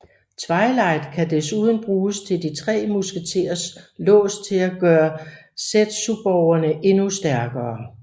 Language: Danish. Twilight kan desuden bruge de tre musketers lås til at gøre zetsuborgene endnu stærkere